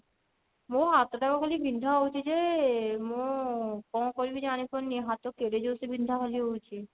ମୋ ହାତ ଟା ଖାଲି ବିନ୍ଧା ହଉଛି ଯେ ମୁଁ କଣ କରିବି ଜାଣି ପାରୁନି ହାତ କେଡେ ଜୋରସେ ଖାଲି ବିନ୍ଧା ହଉଛି